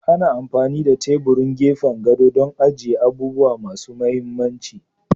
Ana amfani da teburin gefen gado don agiye abubuwa masu mahimmanci.